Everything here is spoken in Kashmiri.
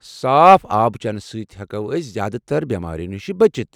صاف آب چٮ۪نہٕ سۭتۍ ہٮ۪کو أسۍ زیادٕتر بیمارِیو نِشہِ بچِتھ ۔